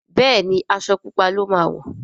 Béèni Aṣọ pupa ló má wọ.